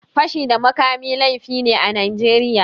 Fashi da makami laifi ne a Najeriya.